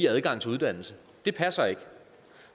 adgang til uddannelse det passer ikke